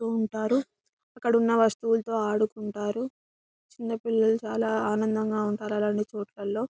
గడపుతు ఉంటారు అక్కడ ఉన్న వస్తువులోతో ఆడుకుంటారు చిన్న పిల్లలు చాలా ఆనందంగా ఉంటారు అలాంటి చోటులో --